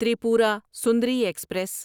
Tripura Sundari express